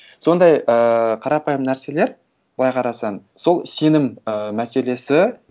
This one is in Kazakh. сондай ііі қарапайым нәрселер былай қарасаң сол сенім і мәселесі